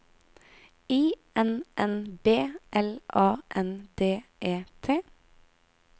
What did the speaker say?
I N N B L A N D E T